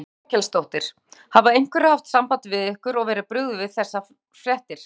Þórhildur Þorkelsdóttir: Hafa einhverjir haft samband við ykkur og verið brugðið við þessar fréttir?